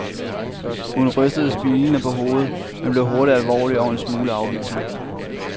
Hun rystede smilende på hovedet, men blev hurtigt alvorlig og en smule afvisende.